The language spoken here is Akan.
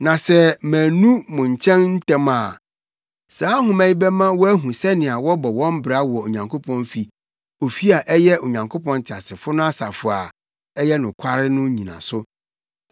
Na sɛ mannu wo nkyɛn ntɛm a saa nhoma yi bɛma woahu sɛnea wɔbɔ wɔn bra wɔ Onyankopɔn fi; ofi a ɛyɛ Onyankopɔn teasefo no asafo a ɛyɛ nokware no nnyinaso.